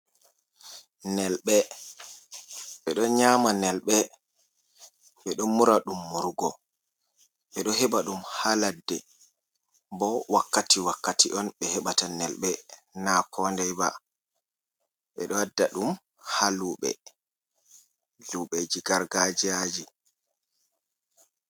Nelɓe, ɓe ɗo nyama nelɓe, be ɗo mura dum, murugo, ɓe ɗo heɓa ɗum ha ladde, bo wakkati wakkati on ɓe heɓata nelɓe na koday ba, ɓe ɗo adda ɗum ha luɓe luɓe ji gargajiyaji.